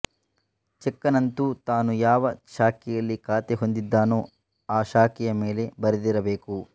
ಚೆಕ್ಕನ್ನಂತೂ ತಾನು ಯಾವ ಶಾಖೆಯಲ್ಲಿ ಖಾತೆ ಹೊಂದಿದ್ದಾನೋ ಆ ಶಾಖೆಯ ಮೇಲೆ ಬರೆದಿರಬೇಕು